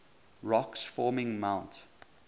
rocks forming mont